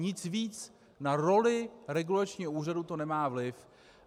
Nic víc na roli regulačního úřadu to nemá vliv.